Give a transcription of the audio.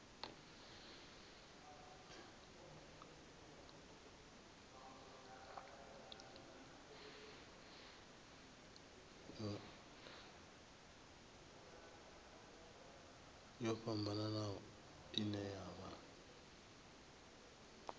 yo fhambanaho ine ya vha